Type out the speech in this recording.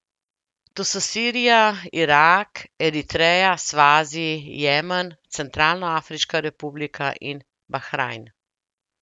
To so Sirija, Irak, Eritreja, Svazi, Jemen, Centralnoafriška republika in Bahrajn.